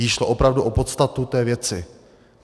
Jí šlo opravdu o podstatu té věci.